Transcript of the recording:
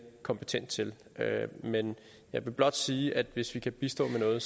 kompetent til men jeg vil blot sige at hvis vi kan bistå med noget